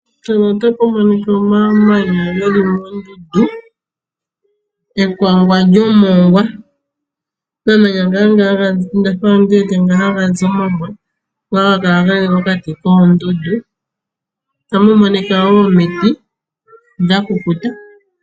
Mpano otapu monika omamanya geli mondundu mekango lyomongwa. Omamanya nganga hagazi ondafa ala ndi wete nga hagazi omongwa. Otapu monika wo omiti dhakukuta.